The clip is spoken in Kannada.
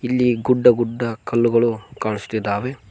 ಇಲ್ಲಿ ಗುಡ್ಡ ಗುಡ್ಡ ಕಲ್ಲುಗಳು ಕಾಣಿಸುತ್ತಿದ್ದಾವೆ.